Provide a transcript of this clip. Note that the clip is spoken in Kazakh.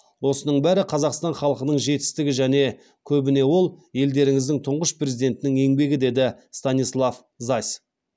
осының бәрі қазақстан халқынының жетістігі және көбіне ол елдеріңіздің тұңғыш президентінің еңбегі деді станислав зась